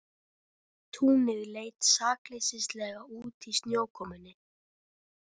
Túnið leit sakleysislega út í snjókomunni.